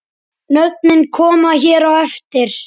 Nöfnin koma hér á eftir.